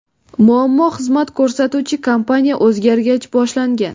Muammo xizmat ko‘rsatuvchi kompaniya o‘zgargach boshlangan.